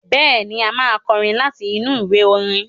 Bẹ́ẹ̀ni, a máa kọrin láti inú ìwé orin.